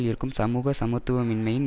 இருக்கும் சமூக சமத்துவமின்மையின்